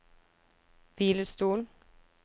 hvilestol